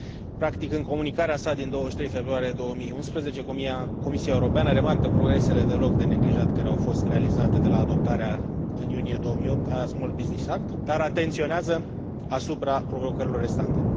Practic, în comunicarea sa din 23 februarie 2011, Comisia Europeană remarcă progresele deloc de neglijat care au fost realizate de la adoptarea în iunie 2008 a Small Business Act, dar atenționează asupra provocărilor restante.